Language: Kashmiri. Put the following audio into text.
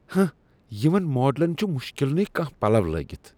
ہنہہ! یِمن ماڈلن چُھ مُشکل نٕے کانٛہہ پلو لٲگِتھ ۔